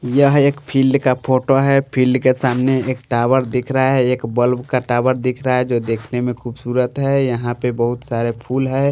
यह एक फील्ड का फोटो है फील्ड के सामने एक टावर दिख रहा है एक बल्ब का टावर दिख रहा है जो देखने में खूबसूरत है यहां पे बहुत सारे फूल है।